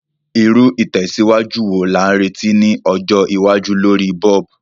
Irú ìtẹ̀síwájú wo la n retí ni ọjọ́ iwájú lorí bulb?